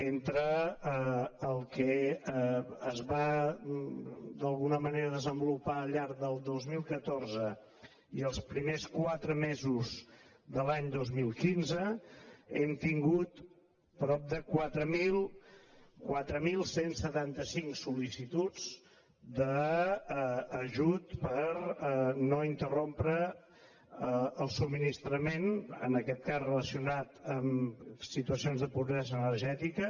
entre el que es va d’alguna manera desenvolupar al llarg del dos mil catorze i els primers quatre mesos de l’any dos mil quinze hem tingut prop de quatre mil cent i setanta cinc sol·licituds d’ajut per no interrompre el subministrament en aquest cas relacionat amb situacions de pobresa energètica